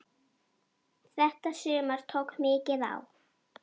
Þetta sumar tók mikið á.